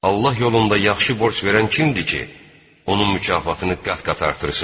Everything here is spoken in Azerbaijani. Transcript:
Allah yolunda yaxşı borc verən kimdir ki, onun mükafatını qat-qat artırsın?